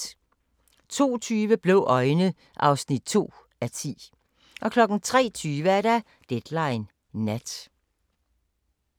02:20: Blå øjne (2:10) 03:20: Deadline Nat